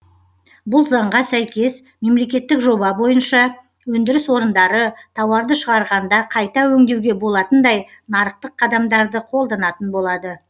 бұл заңға сәйкес мемлекеттік жоба бойынша өндіріс орындары тауарды шығарғанда қайта өңдеуге болатындай нарықтық қадамдарды қолданатын болады